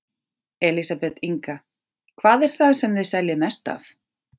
Elísabet Inga: Hvað er það sem þið seljið mest af?